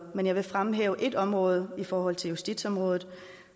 men jeg vil fremhæve et enkelt område i forhold til justitsområdet